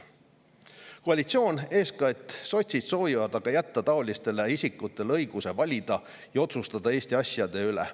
Koalitsioon aga soovib, eeskätt soovivad seda sotsid, jätta taolistele isikutele õiguse valida ja otsustada Eesti asjade üle.